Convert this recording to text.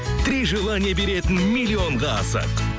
три желание беретін миллионға асық